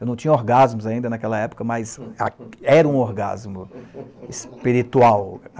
Eu não tinha orgasmos ainda naquela época, mas era um orgasmo espiritual.